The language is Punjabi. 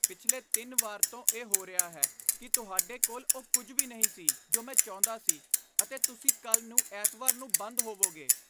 ਪਿਛਲੇ ਤਿੰਨ ਵਾਰ ਤੋਂ ਇਹ ਹੋ ਰਿਹਾ ਹੈ ਕਿ ਤੁਹਾਡੇ ਕੋਲ ਉਹ ਕੁੱਝ ਵੀ ਨਹੀਂ ਸੀ ਜੋ ਮੈਂ ਚਾਹੁੰਦਾ ਸੀ ਅਤੇ ਤੁਸੀਂ ਕੱਲ੍ਹ ਨੂੰ ਐਤਵਾਰ ਨੂੰ ਬੰਦ ਹੋਵੋਗੇ।